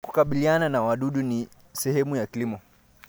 Kukabiliana na wadudu ni sehemu ya kilimo.